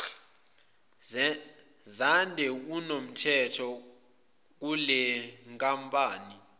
zande kunomthetho kulenkampani